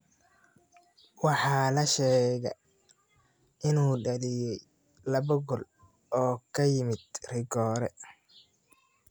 Waxaa la sheegaa inuu dhaliyay laba gool oo ka yimid rigoore.